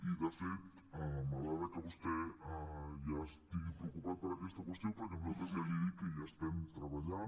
i de fet m’agrada que vostè ja estigui preocupat per aquesta qüestió perquè nosaltres ja li he dit que hi estem treballant